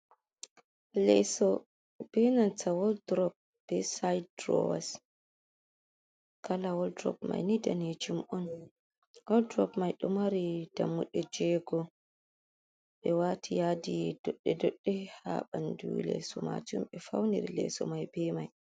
Leso be nanta woldurop be side durowas kala woldurop mai ni danejum on woldurop mai do mari dammuɗe jego ɓe wati yadi doɗɗe doɗɗe ha ɓandu leso majum be fauniri leso mai ɓe mai.